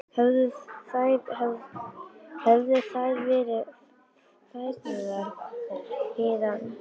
Höfðu þær verið færðar hingað með valdi?